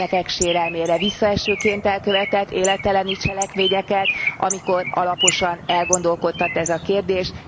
gyermekek sérelmére, visszaesőként elkövetett életelleni cselekményeket, amikor alaposan elgondolkodtat ez a kérdés.